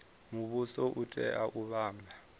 muvhuso u tea u vhumba